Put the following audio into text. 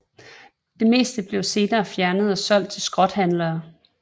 Det meste blev senere fjernet og solgt til skrothandlere